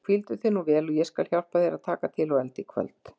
Hvíldu þig vel og ég skal hjálpa þér að taka til og elda í kvöld.